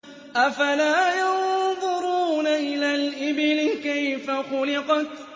أَفَلَا يَنظُرُونَ إِلَى الْإِبِلِ كَيْفَ خُلِقَتْ